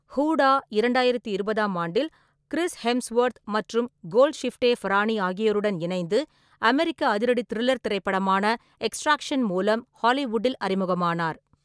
ஹூடா இரண்டாயிரத்தி இருபதாம் ஆண்டில் கிறிஸ் ஹெம்ஸ்வொர்த் மற்றும் கோல்ட்ஷிஃப்டே ஃபரானி ஆகியோருடன் இணைந்து அமெரிக்க அதிரடி-திரில்லர் திரைப்படமான எக்ஸ்ட்ராக்ஷன் மூலம் ஹாலிவுட்டில் அறிமுகமானார்.